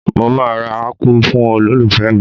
Mo máa ra Ápù fún olólùfẹ́ mi